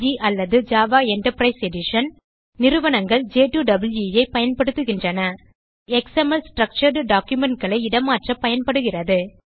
இது XML structured documentகளை இடமாற்ற பயன்படுகிறது